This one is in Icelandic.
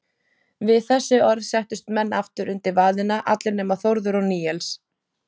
Við þessi orð settust menn aftur undir vaðina, allir nema Þórður og Níels.